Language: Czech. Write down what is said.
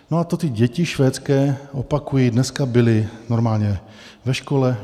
No a to ty děti švédské, opakuji, dneska byly normálně ve škole.